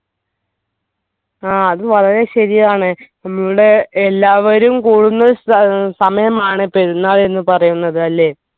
ആ അത് വളരെ ശരിയാണ് നമ്മൾ എല്ലാവരും കൂടുന്ന ഏർ സമയമാണ് പെരുന്നാൾ എന്ന് പറയുന്നത് അല്ലേ